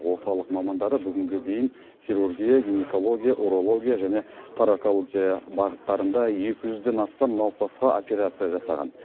орталық мамандары бүгінге дейін хирургия гинекология урология және таракология бағыттарында екі жүзден астам науқасқа операция жасаған